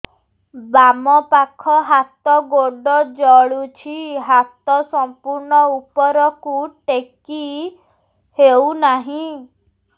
ବାମପାଖ ହାତ ଗୋଡ଼ ଜଳୁଛି ହାତ ସଂପୂର୍ଣ୍ଣ ଉପରକୁ ଟେକି ହେଉନାହିଁ